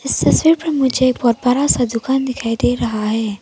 इस तस्वीर पर मुझे एक बहुत बड़ा सा दुकान दिखाई दे रहा है।